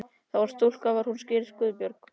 Það var stúlka og var hún skírð Guðbjörg.